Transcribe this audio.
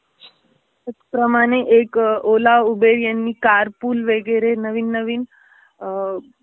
त्याचप्रमाणे एक ओला, ऊबेर यांनी कारपूल वगेरे नवीन नवीन